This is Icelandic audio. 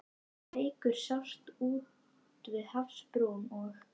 Reykur sást úti við hafsbrún, og